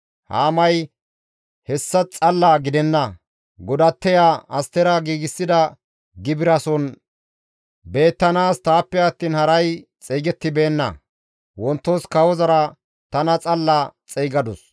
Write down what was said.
Haamay, «Hessa xalla gidenna; godatteya Astera giigsida gibirason beettanaas taappe attiin haray xeygettibeenna. Wontos kawozara tana xalla xeygadus.